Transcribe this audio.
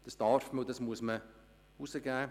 Das kann und darf man publizieren.